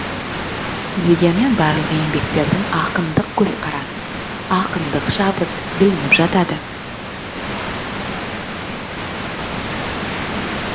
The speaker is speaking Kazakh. дегенмен барлық еңбектерінде ақындық көзқарас ақындық шабыт білініп жатады